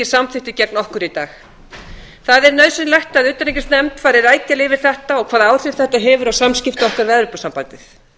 samþykkti gegn okkur í dag það er nauðsynlegt að utanríkisnefnd fari rækilega yfir þetta og hvaða áhrif þetta hefur á samskipti okkar við evrópusambandið